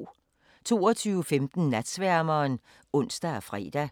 22:15: Natsværmeren (ons og fre)